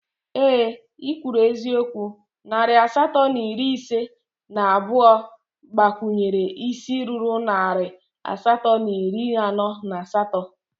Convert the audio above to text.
Ee ị kwuru eziokwu, narị asatọ na iri ise na abụọ gbakwunyere isii ruru narị asatọ na iri anọ na asatọ